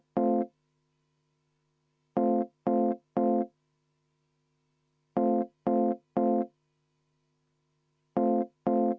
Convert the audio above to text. Sellega oleme muudatusettepanekud siuhti!